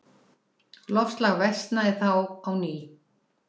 Loftslag versnaði þá á ný.